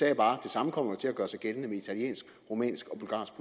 jeg bare det samme kommer jo til at gøre sig gældende med italiensk rumænsk